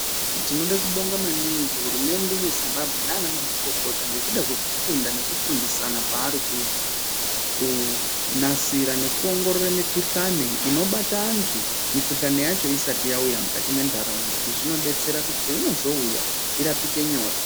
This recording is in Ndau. Tinoda kubonga maningi hurumende yezimbabwe nana mazvikokota ngekuda kwekufunda nekufundisana kwarikuita kunasira nekuongorora mikuhlani inobatsira antu mikuhlani yacho usati yauya mukati mendarauna izvi zvinodetsera paunozoiona irapike nyore.